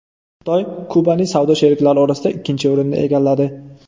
Xitoy Kubaning savdo sheriklari orasida ikkinchi o‘rinni egalladi.